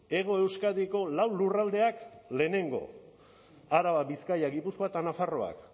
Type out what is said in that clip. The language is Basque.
hego euskadiko lau lurraldeak lehenengo araba bizkaia gipuzkoa eta nafarroa